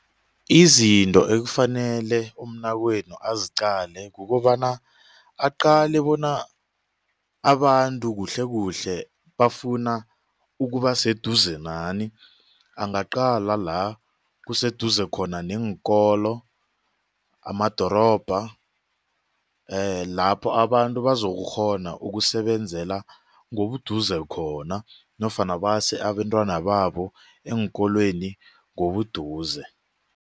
Izinto ekufanele umnakwenu aziqale kukobana aqale bona abantu kuhle kuhle bafuna ukuba seduze nani angaqala la kuseduze khona neenkolo, amadorobha lapho abantu bazokukghona ukusebenzela ngobuduze khona nofana base abentwana babo eenkolweni ngobuduze.